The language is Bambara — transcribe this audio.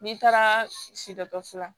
N'i taara si dɔkɔtɔrɔso la